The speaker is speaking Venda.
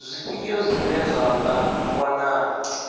zwifhio zwine zwa nga wanala